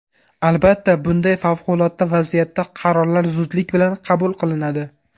Albatta, bunday favqulodda vaziyatda qarorlar zudlik bilan qabul qilinadi.